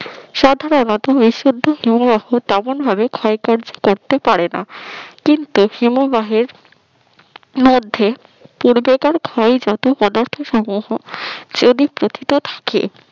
সাধারণত বিশুদ্ধ হিমবাহ তেমনভাবে ক্ষয়কার্য করতে পারে না কিন্তু হিমবাহের মধ্যে পূর্বেকার ক্ষয়ে যত পদার্থ সমূহ যদি প্রথিত থাকে